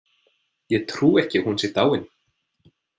Ég trúi ekki að hún sé dáin.